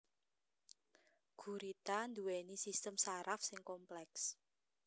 Gurita nduwèni sistem saraf sing kompleks